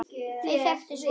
Þau þekktu svo marga.